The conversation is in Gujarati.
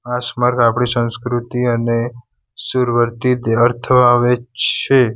આ સ્મારક આપણી સંસ્કૃતિ અને સુર્વરથી છે.